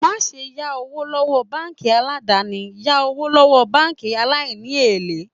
Má ṣe yá owó lọ́wọ́ báńkì aládàni, yá owó lọ́wọ́ báńkì aláìní èlé.